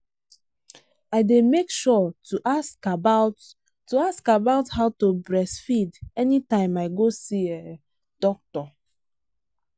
i day make sure to ask about to ask about how to breastfeed anytime i go see um doctor.